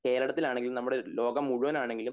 കേരളത്തിൽ ആണെങ്കിലും നമ്മടെ ലോകം മുഴുവൻ ആണെങ്കിലും